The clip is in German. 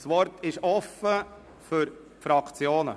Das Wort ist offen für die Fraktionen.